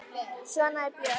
Svona er Björk.